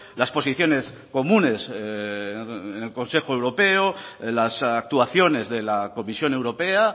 las posiciones comunes en el consejo europeo las actuaciones de la comisión europea